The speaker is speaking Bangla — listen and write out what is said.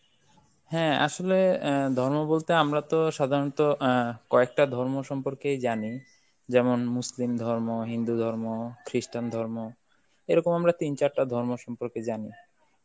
হ্যাঁ আসলে অ্যাঁ ধর্ম বলতে আমরা তো সাধারণত অ্যাঁ কয়েকটা ধর্ম সম্পর্কেই জানি, যেমন Muslim ধর্ম, হিন্দু ধর্ম, Christian ধর্ম, এরকম আমরা তিন-চারটা ধর্ম সম্পর্কে জানি.